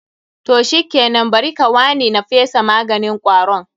Toh shikenan, Bari kawaui na fesa maganin kwaron.